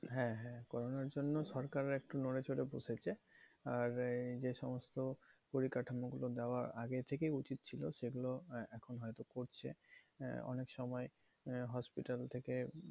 হ্যাঁ হ্যাঁ corona র জন্য সরকার একটু নড়ে চড়ে বসেছে। আর এই যে সমস্ত পরিকাঠামোগুলো দেওয়া আগে থেকেই উচিত ছিল, সেগুলো এখন হয়তো করছে। আহ অনেক সময় আহ hospital থেকে